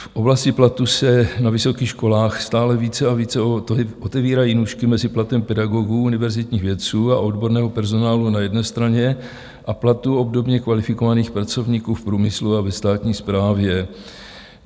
V oblasti platu se na vysokých školách stále více a více otevírají nůžky mezi platem pedagogů, univerzitních vědců a odborného personálu na jedné straně a platů obdobně kvalifikovaných pracovníků v průmyslu a ve státní správě.